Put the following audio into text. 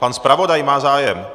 Pan zpravodaj má zájem.